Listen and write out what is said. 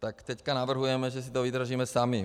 Tak teď navrhujeme, že si to vydražíme sami.